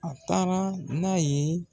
A taara n'a ye